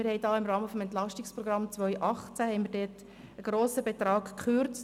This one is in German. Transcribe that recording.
Wir haben im Rahmen des Entlastungsprogramms 2018 (EP 18) einen grossen Betrag gekürzt.